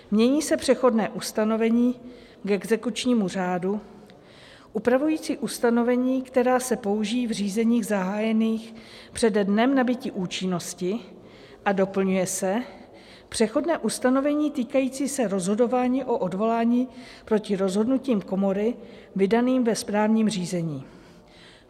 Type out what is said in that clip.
Mění se přechodné ustanovení k exekučnímu řádu, upravující ustanovení, která se použití v řízení zahájených přede dnem nabytí účinnosti, a doplňuje se přechodné ustanovení týkající se rozhodování o odvolání proti rozhodnutím komory vydaným ve správním řízení.